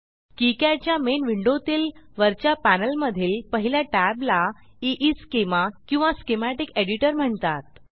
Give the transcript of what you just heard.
KiCad च्या main विंडोतील वरच्या पॅनेलमधील पहिल्या टॅबला ईस्केमा किंवा स्कीमॅटिक एडिटर म्हणतात